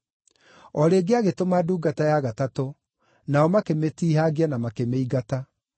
O rĩngĩ agĩtũma ndungata ya gatatũ, nao makĩmĩtiihangia na makĩmĩingata.